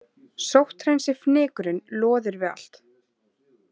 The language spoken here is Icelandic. Sótthreinsifnykurinn loðir við allt.